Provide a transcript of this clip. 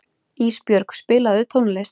Ísbjörg, spilaðu tónlist.